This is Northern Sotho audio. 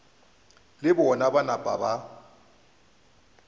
le bona ba napa ba